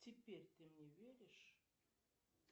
теперь ты мне веришь